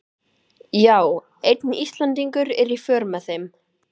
Já, einn Íslendingur er í för með þeim.